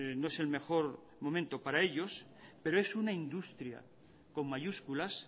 no es el mejor momento para ellos pero es una industria con mayúsculas